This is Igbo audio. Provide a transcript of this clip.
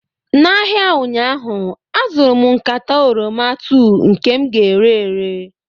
n'ahịa ụnyaahụ azụrụ m nkata oroma 2 nke m ga-ere ere